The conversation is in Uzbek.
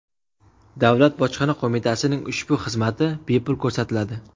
Davlat bojxona qo‘mitasining ushbu xizmati bepul ko‘rsatiladi.